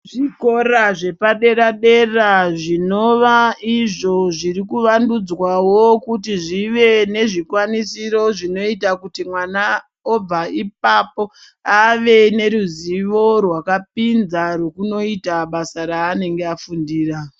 Zvikora zvepadera-dera zvinova izvo zviri kuvandudzwawo kuti zvive nezvikwanisiro zvinoita kuti mwana obva ipapo ave neruzivo rwakapinza, rwekunoita basa raanenge afundira.